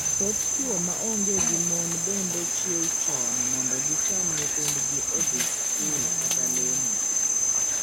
Thoth chwo ma onge gi mon bende chiewo chon mondo gichan nyithindo odhii skul kata lemo.